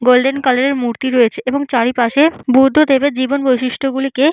golden colour এর মূর্তি রয়েছে এবং চারিপাশে বুদ্ধদেবের জীবন বৈশিষ্ট্য গুলিকে--